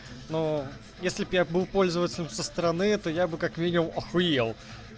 ну если б я был пользователям со стороны то я бы как минимум охуел